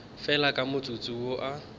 fela ka motsotso wo a